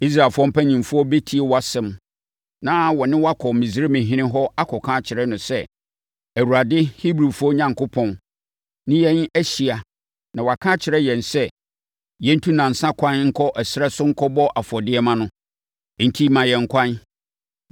“Israelfoɔ mpanimfoɔ bɛtie wʼasɛm na wɔne wo akɔ Misraimhene hɔ akɔka akyerɛ no sɛ, ‘ Awurade, Hebrifoɔ Onyankopɔn, ne yɛn ahyia na waka akyerɛ yɛn sɛ, yɛntu nnansa ɛkwan nkɔ ɛserɛ so nkɔbɔ afɔdeɛ mma no. Enti, ma yɛn ɛkwan.’